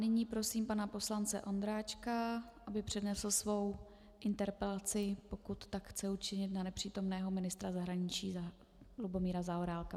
Nyní prosím pana poslance Ondráčka, aby přednesl svoji interpelaci, pokud tak chce učinit, na nepřítomného ministra zahraničí Lubomíra Zaorálka.